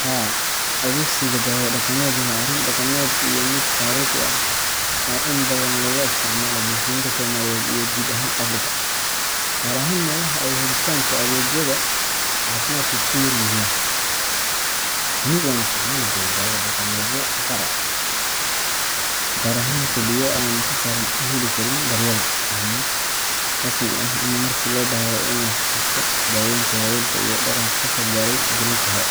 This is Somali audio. Haa, adeegsiga dawo dhaqameed waa arrin dhaqameed iyo mid taariikhi ah oo in badan laga isticmaalo bulshooyinka Soomaaliyeed iyo guud ahaan Afrika, gaar ahaan meelaha ay helitaanka adeegyada caafimaadku ku yaryihiin. Anigu waan isticmaali jiray dawo dhaqameedyo gaar ah, gaar ahaan xilliyo aanan si sahlan u heli karin daryeel caafimaad rasmi ah ama markii loo baahdo in la xasuusto daaweyntii waayeelka iyo dhaqanka kasoo gaaray jiilal hore.